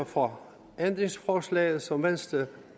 for ændringsforslaget som venstre